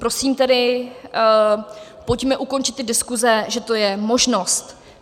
Prosím tedy, pojďme ukončit ty diskuze, že to je možnost.